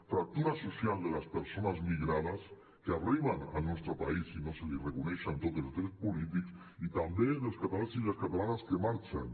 fractura social de les persones migrades que arriben al nostre país i no se’ls reconeixen tots els drets polítics i també dels catalans i les catalanes que marxen